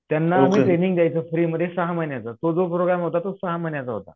त्यांना आम्ही ट्रेनिंग द्यायचो फ्रीमध्ये सहा महिन्याचा तो जो प्रोग्रॅम होता तो सहा महिन्याचा होता.